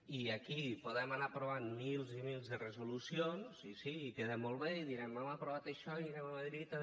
i aquí podem anar aprovant mils i mils de resolucions i sí i queda molt bé i direm hem aprovat això i anem a madrid a